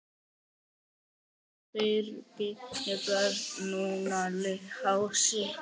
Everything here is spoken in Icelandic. Fyrst Birgir Björn, núna Lási.